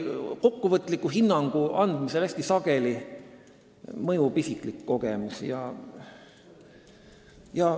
Kokkuvõtliku hinnangu andmisel mõjub ikkagi hästi sageli isiklik kogemus.